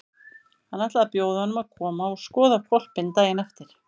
Hann ætlaði að bjóða honum að koma og skoða hvolpinn daginn eftir.